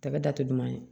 Tɛgɛ da tɛ duman ye